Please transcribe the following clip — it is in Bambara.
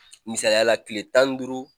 Misaliya la tile tan ni duuru